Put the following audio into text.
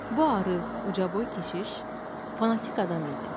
Bu arıq, ucaboy keşiş fanatik adam idi.